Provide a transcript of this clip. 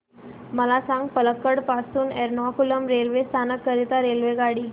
मला सांग पलक्कड पासून एर्नाकुलम रेल्वे स्थानक करीता रेल्वेगाडी